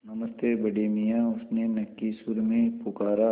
नमस्ते बड़े मियाँ उसने नक्की सुर में पुकारा